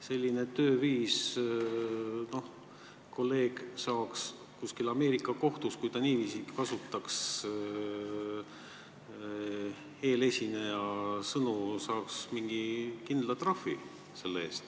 Kui tegu oleks näiteks Ameerika kohtuga ja mu kolleeg kasutaks niiviisi eelesineja sõnu, siis saaks ta selle eest mingi kindla trahvi.